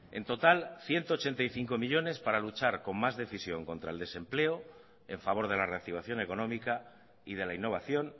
en total ciento ochenta y cinco millónes para luchar con más decisión contra el desempleo en favor de la reactivación económica y de la innovación